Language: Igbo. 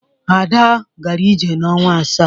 Ada gara ije n'ọnwa asaa.